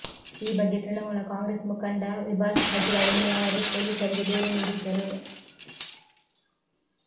ಈ ಬಗ್ಗೆ ತೃಣಮೂಲ ಕಾಂಗ್ರೆಸ್ ಮುಖಂಡ ವಿಭಾಸ್ ಹಜ್ರಾ ಎನ್ನುವವರು ಪೊಲೀಸರಿಗೆ ದೂರು ನೀಡಿದ್ದರು